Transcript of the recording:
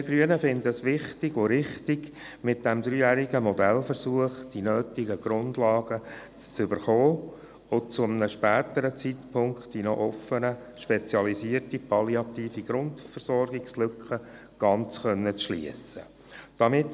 Wir Grünen halten es für richtig und wichtig, mit dem dreijährigen Modellversuch die nötigen Grundlagen zu erhalten und zu einem späteren Zeitpunkt die noch offene spezialisierte palliative Grundversorgungslücke ganz schliessen zu können.